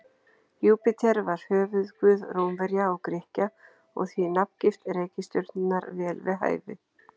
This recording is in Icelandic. Júpíter var höfuðguð Rómverja og Grikkja og því er nafngift reikistjörnunnar vel við hæfi.